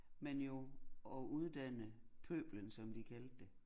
Man jo at uddanne pøblen som de kaldte det